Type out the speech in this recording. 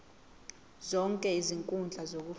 zonke izinkundla zokufunda